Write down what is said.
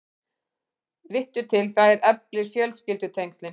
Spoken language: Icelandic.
Vittu til, það eflir fjölskyldutengslin.